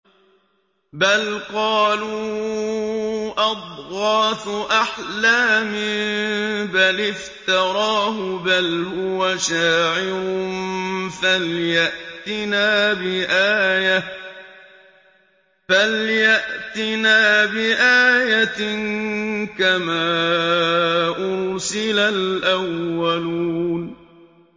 بَلْ قَالُوا أَضْغَاثُ أَحْلَامٍ بَلِ افْتَرَاهُ بَلْ هُوَ شَاعِرٌ فَلْيَأْتِنَا بِآيَةٍ كَمَا أُرْسِلَ الْأَوَّلُونَ